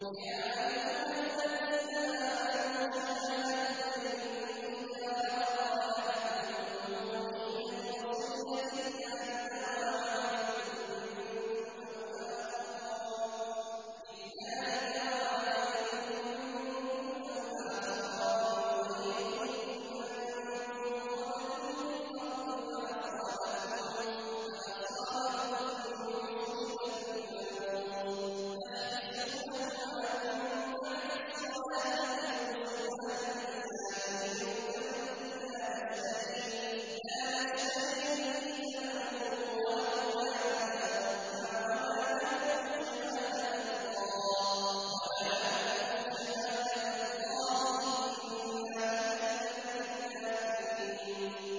يَا أَيُّهَا الَّذِينَ آمَنُوا شَهَادَةُ بَيْنِكُمْ إِذَا حَضَرَ أَحَدَكُمُ الْمَوْتُ حِينَ الْوَصِيَّةِ اثْنَانِ ذَوَا عَدْلٍ مِّنكُمْ أَوْ آخَرَانِ مِنْ غَيْرِكُمْ إِنْ أَنتُمْ ضَرَبْتُمْ فِي الْأَرْضِ فَأَصَابَتْكُم مُّصِيبَةُ الْمَوْتِ ۚ تَحْبِسُونَهُمَا مِن بَعْدِ الصَّلَاةِ فَيُقْسِمَانِ بِاللَّهِ إِنِ ارْتَبْتُمْ لَا نَشْتَرِي بِهِ ثَمَنًا وَلَوْ كَانَ ذَا قُرْبَىٰ ۙ وَلَا نَكْتُمُ شَهَادَةَ اللَّهِ إِنَّا إِذًا لَّمِنَ الْآثِمِينَ